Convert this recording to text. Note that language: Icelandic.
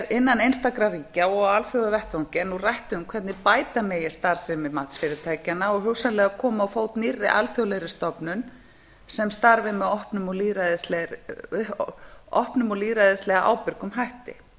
innan einstakra ríkja og á alþjóðavettvangi er nú rætt um hvernig bæta megi starfsemi matsfyrirtækjanna og hugsanlega koma á fót nýrri alþjóðlegri stofnun sem starfi með opnum og lýðræðislega ábyrgum hætti